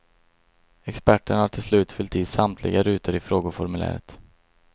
Experterna har till slut fyllt i samtliga rutor i frågeformuläret.